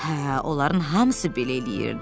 Hə, onların hamısı belə eləyirdi.